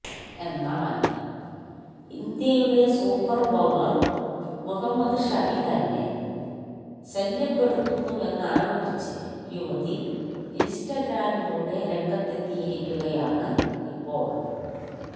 എന്നാല് ഇന്ത്യയുടെ super bowler Muhammad Shami തന്നെ ശല്യപ്പെടുത്തുന്നുവെന്നാരോപിച്ച് യുവതി ഇന്സ്റ്റഗ്രാമിലൂടെ രംഗത്തെത്തിയിരിക്കുകയാണ് ഇപ്പോള്